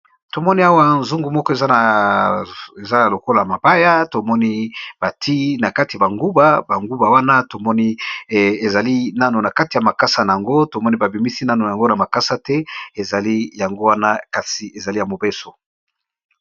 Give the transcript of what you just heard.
Tomoni alawa nzungu, moko eza lokola mabaya tomoni batiye banguba, banguba wana tomoni ezananu na makasanango tomoni babimisi nanu te na makasanango; kasi ezali yamobesu.